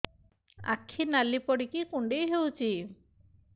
ଆଖି ନାଲି ପଡିକି କୁଣ୍ଡେଇ ହଉଛି